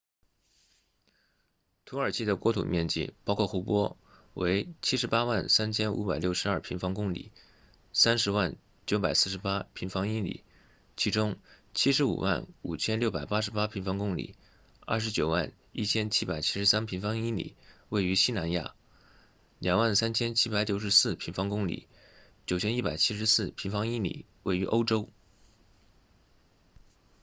土耳其的国土面积包括湖泊为 783,562 平方公里 300,948 平方英里其中 755,688 平方公里 291,773 平方英里位于西南亚 23,764 平方公里 9,174 平方英里位于欧洲